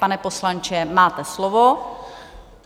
Pane poslanče, máte slovo.